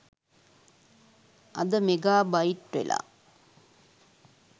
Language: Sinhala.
අද මෙගා බයිට් වෙලා